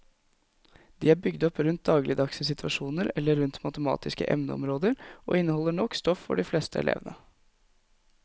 De er bygd opp rundt dagligdagse situasjoner eller rundt matematiske emneområder og inneholder nok stoff for de fleste elevene.